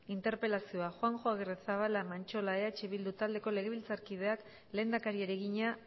interpelazioa juanjo agirrezabala mantxola eh bildu taldeko legebiltzarkideak lehendakariari egina